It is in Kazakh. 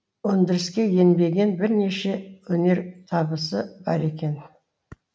өндіріске енбеген бірнеше өнертабысы бар екен